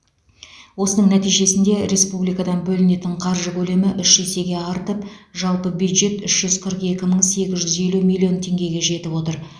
осының нәтижесінде республикадан бөлінетін қаржы көлемі үш есеге артып жалпы бюджет үш жүз қырық екі мың сегіз жүз елу миллион теңгеге жетіп отыр